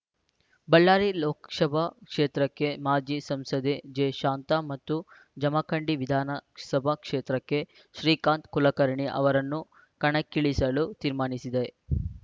ಬಳ್ಳಾರಿ ಲೋಕಶಭಾ ಕ್ಷೇತ್ರಕ್ಕೆ ಮಾಜಿ ಸಂಸದೆ ಜೆಶಾಂತಾ ಮತ್ತು ಜಮಖಂಡಿ ವಿಧಾನಸಭಾ ಕ್ಷೇತ್ರಕ್ಕೆ ಶ್ರೀಕಾಂತ್‌ ಕುಲಕರ್ಣಿ ಅವರನ್ನು ಕಣಕ್ಕಿಳಿಸಲು ತೀರ್ಮಾನಿಸಿದೆ